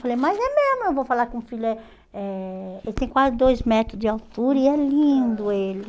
Eu falei, mas é mesmo, eu vou falar que o filho é é... Ele tem quase dois metros de altura e é lindo ele.